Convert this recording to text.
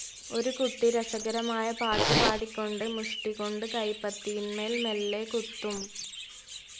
ഒരു കുട്ടി രസകരമായ പാട്ടുപാടിക്കൊണ്ട്, മുഷ്ടികൊണ്ട് കൈപ്പത്തിയിന്മേൽ മെല്ലെ കുത്തും.